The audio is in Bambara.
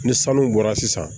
Ni sanu bɔra sisan